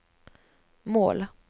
mål